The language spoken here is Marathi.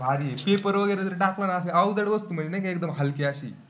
भारी slipper वगैरे जर टाकला ना असा अवजड वस्तू म्हणजे नाही का, एकदम हलकी अशी